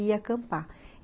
E ia acampar.